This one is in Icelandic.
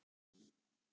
Bóas er fínn.